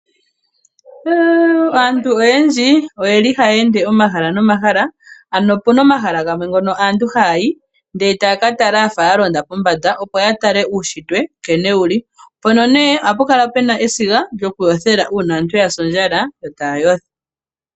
Aantu oyendji oye li haya ende omahala nomahala, ano opuna omahala gamwe ngono aantu hayayi, e taya katala yafa yalonda pombanda, opo yatale uunshitwe nkene wuli. Mpono nee, ohapu kala puna esiga lyokuyothela, uuna aantu yasi ondjala, yo taya yotha.